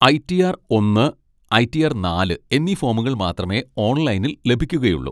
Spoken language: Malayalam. ഐ റ്റി ആർ ഒന്ന്, ഐ റ്റി ആർ നാല് എന്നീ ഫോമുകൾ മാത്രമേ ഓൺലൈനിൽ ലഭിക്കുകയുള്ളൂ.